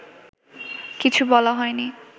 কিছু বলা হয়নি